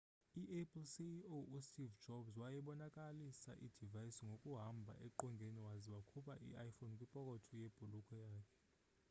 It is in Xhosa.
i-apple ceo u steve jobs wayebonakalisa i-device ngokuhamba eqongeni waze wakhupha i-iphone kwipokotho yebhulukhwe yakhe